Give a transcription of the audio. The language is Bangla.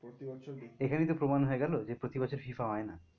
প্রতি বছর দেখি। এখানেই তো প্রমান হয়ে গেলো যে প্রতি বছর FIFA হয় না।